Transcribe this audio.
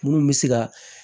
Munnu bɛ se ka